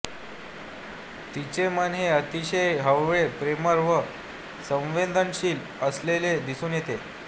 तिचे मन हे अतिशय हळवे प्रेमळ व संवेदनशील असलेले दिसून येते